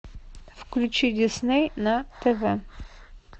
включи дисней на тв